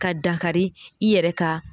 Ka dankari i yɛrɛ ka.